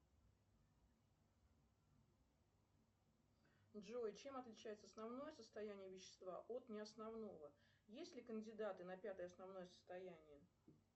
джой чем отличается основное состояние вещества от неосновного есть ли кандидаты на пятое основное состояние